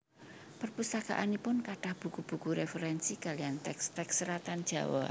Perpustakaanipun kathah buku buku referensi kalian teks teks seratan Jawa